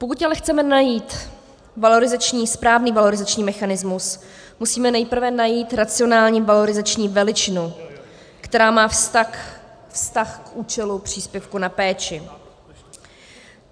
Pokud ale chceme najít správný valorizační mechanismus, musíme nejprve najít racionální valorizační veličinu, která má vztah k účelu příspěvku na péči.